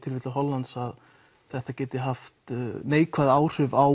Hollandi að þetta geti haft neikvæð áhrif á